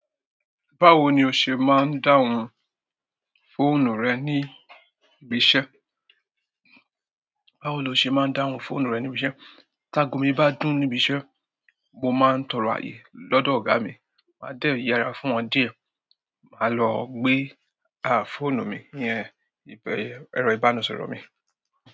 Báwo ni o ṣe máa ń dáhùn fóònù rẹ ní ibi iṣẹ́? Báwo lo ṣe máa ń dáhùn fóònù rẹ ní ibi iṣẹ́? Ta agomi bá dún níbi iṣẹ́, mo máa ń tọrọ ààyè lọ́dọ̀ ọ̀gá mi, máa dẹ́ yerá fún wọn díẹ̀, màá lọ gbé á fóònù mi iyẹn ibẹ̀ ẹrọ ìbánisọ̀rọ̀ mi.